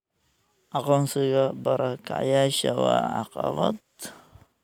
Aqoonsiga barakacayaasha waa caqabad.